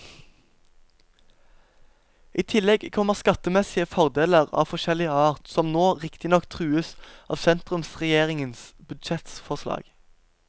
I tillegg kommer skattemessige fordeler av forskjellig art, som nå riktignok trues av sentrumsregjeringens budsjettforslag.